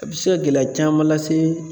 A bɛ se ka gɛlɛya caman lase